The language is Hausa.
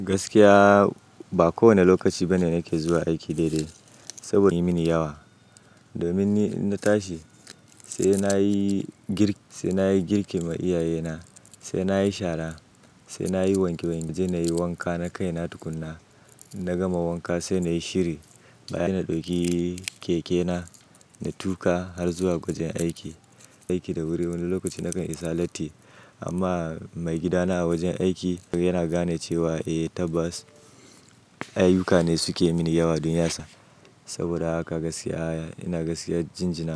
Gaskiya ba kowane lokaci bane na ke zuwa aiki daidai sabo yi mini yawa. Domin ni in na tashi sai na yi girk sai nayi girki ma iyayena, sai na yi shara, sai na yi wanke wank, sai na yi wanka. Na kai na tukunna, inna gama wanka sai na yi shiri. Baya na ɗauki keke na, na tuƙa har zuwa wajen aiki. Aiki da wuri wani lokaci na kan isa latti amma mai gidana a wajen aiki yana gane cewa eh tabbas ayuka ne suke mini yawa dunyasa. Saboda haka gaskiya, ina gaskiyar jinjina.